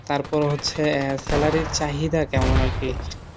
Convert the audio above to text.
তারপর হচ্ছে আহ salary র চাহিদা কেমন আর কি,